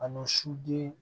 A ni su den